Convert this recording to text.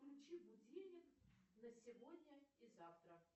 включи будильник на сегодня и завтра